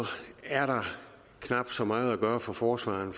er der knap så meget at gøre for forsvareren